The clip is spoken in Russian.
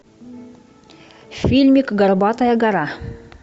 фильмик горбатая гора